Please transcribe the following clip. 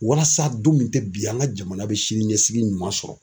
Walasa don min tɛ bi ye an ka jamana bɛ sini ɲɛsigi ɲuman sɔrɔ.